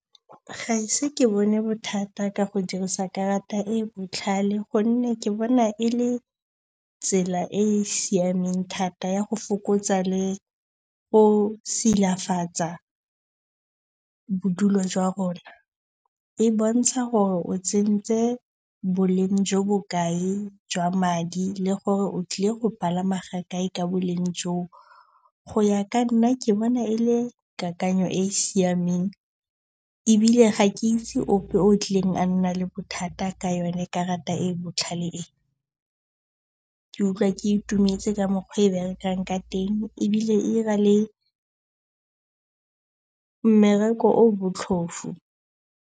Ga e se ke bone bothata ka go dirisa karata e e botlhale gonne ke bona e le tsela e e siameng thata ya go fokotsa le go silafatsa bodulo jwa rona. E bontsha gore o tsentse boleng jo bo kae jwa madi le gore o tlile go palama ga kae ka boleng joo. Go ya ka nna ke bona e le kakanyo e e siameng ebile ga ke itse ope o tlileng a nna le bothata ka yone karata e e botlhale e. Ke utlwa ke itumetse ka mokgwa e e berekang ka teng ebile e 'ira le mmereko o o botlhofu.